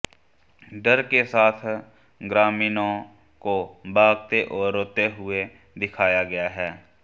डर के साथ ग्रामीणों को भागते और रोते हुए दिखाया गया है